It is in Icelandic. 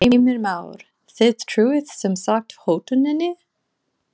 Heimir Már: Þið trúið sem sagt hótuninni?